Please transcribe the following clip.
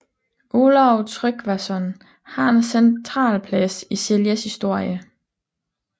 Olav Tryggvason har en central plads i Seljas historie